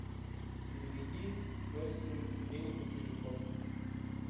переведи родственнику денег на телефон